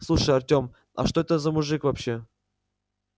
слушай артем а что это за мужик вообще